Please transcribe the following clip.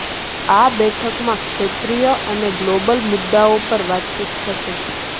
આ બેઠકમાં ક્ષેત્રીય અને ગ્લોબલ મુદ્દાઓ પર વાતચીત થશે